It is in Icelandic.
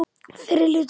Fyrri hluti.